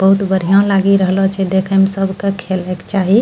बहुत बढ़िया लागि रहलो छे देखे म सब क खेल क चाहि।